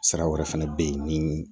Sira wɛrɛ fɛnɛ bɛ ye ni